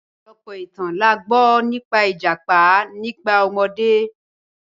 Ọ̀pọ̀lọ̀pọ̀ ìtàn là gbọ nípà ìjápá nígbà omọdé.